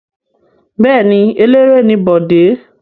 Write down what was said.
Bẹ́ẹ̀ ni, eléré ni Bọ̀dé.